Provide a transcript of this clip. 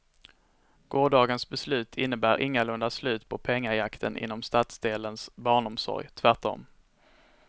Gårdagens beslut innebär ingalunda slut på pengajakten inom stadsdelens barnomsorg, tvärtom.